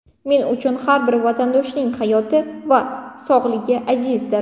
Men uchun har bir vatandoshning hayoti va sog‘lig‘i azizdir.